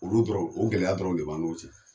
Olu dɔrɔn o gɛlɛya dɔrɔn de b'an n'u cɛ